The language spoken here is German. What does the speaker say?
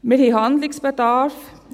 Wir haben Handlungsbedarf.